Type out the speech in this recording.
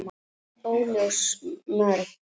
Óljós mörk.